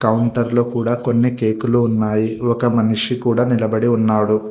కౌంటర్లో కూడా కొన్ని కేకులు ఉన్నాయి ఒక మనిషి కూడా నిలబడి ఉన్నాడు.